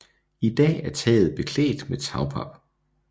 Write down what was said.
I dag er taget beklædt med tagpap